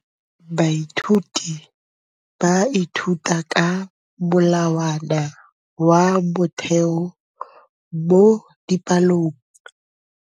Baithuti ba ithuta ka molawana wa motheo mo dipalong.